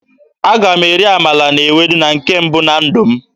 Aga m eri amala na ewedu na nke mbụ na ndụ m.